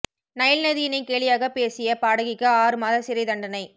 Nile நதியினை கேலியாக பேசிய பாடகிக்கு ஆறு மாத சிறை தண்டனை